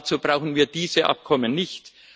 Dazu brauchen wir diese Abkommen nicht.